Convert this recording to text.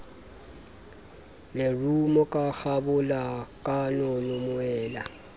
lerumo ho kgabola kanono moela